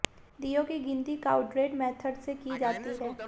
दीयों की गिनती काउड्रेड मेथड से की जाती है